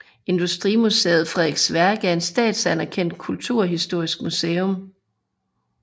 Industrimuseet Frederiks Værk er et statsanerkendt kulturhistorisk museum